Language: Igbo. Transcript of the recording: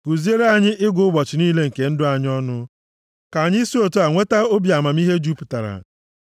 Kuziere anyị ịgụ ụbọchị niile nke ndụ anyị ọnụ, ka anyị si otu a nweta obi amamihe jupụtara.